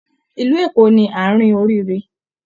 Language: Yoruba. Ilú Eko ni àárin oríire.